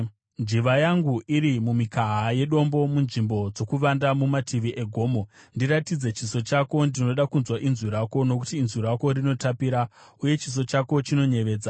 Njiva yangu iri mumikaha yedombo, munzvimbo dzokuvanda mumativi egomo, ndiratidze chiso chako, ndinoda kunzwa inzwi rako; nokuti inzwi rako rinotapira, uye chiso chako chinoyevedza.